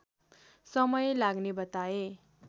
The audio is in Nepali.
समय लाग्ने बताए